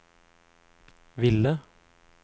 ville